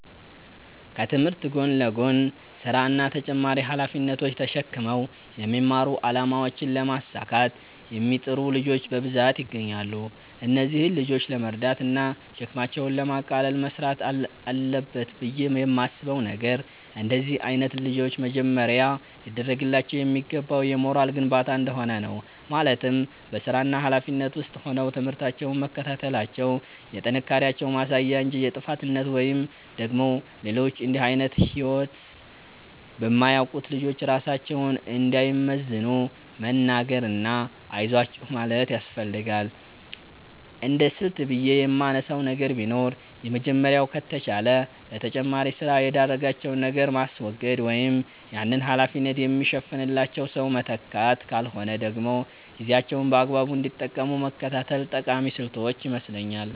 ከትምህርት ጎን ለጎን ስራ እና ተጨማሪ ሃላፊነቶች ተሽክመው የሚማሩ አላማቸውን ለማሳካት የሚጥሩ ልጆች በብዛት ይገኛሉ። እነዚህን ልጆች ለመርዳት እና ሸክማቸውን ለማቅለል መስራት አለበት ብየ የማስበው ነገር፤ እንደነዚህ አይነት ልጆች መጀመሪያ ሊደርግላቸው የሚገባው የሞራል ግንባታ እንደሆነ ነው፤ ማለትም በስራና ሀላፊነት ውስጥ ሆነው ትምህርታቸውን መከታተላቸው የጥንካሬያቸው ማሳያ እንጂ የጥፋተኝነት ወይም ደግሞ ሌሎች እንድህ አይነት ህይወት በማያውቁት ልጆች ራሳቸውን እንዳይመዝኑ መንገር እና አይዟችሁ ማለት ያስፈልጋል። እንደስልት ብየ የማነሳው ነገር ቢኖር የመጀመሪያው ከተቻለ ለተጨማሪ ስራ የዳረጋቸውን ነገር ማስወገድ ወይም ያንን ሀላፊነት የሚሸፍንላቸው ሰው መተካት ካልሆነ ደግሞ ጊዜያቸውን በአግባቡ እንዲጠቀሙ መከታተል ጠቃሚ ስልቶች ይመስለኛል።